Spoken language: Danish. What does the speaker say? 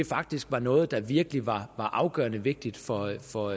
faktisk var noget der virkelig var afgørende vigtigt for for